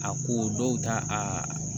A ko dɔw ta a